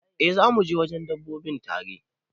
Eh zamu je wajen dabbobi tare.